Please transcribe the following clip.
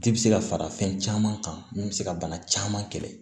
Ji bɛ se ka fara fɛn caman kan min bɛ se ka bana caman kɛlɛ